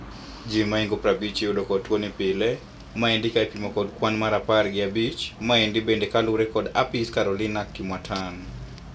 Ji maingo prabich iyudo kod tuni pile. Maendi kaipimo kod kwan mar apar gi abich. Maendi bende kalure kod apis Caroline Kimwattan.